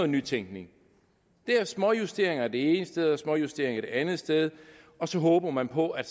nytænkning det er småjusteringer det ene sted og småjusteringer det andet sted og så håber man på at